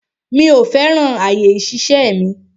Mi ò fẹ́ràn àyè ìṣiṣẹ́ mi.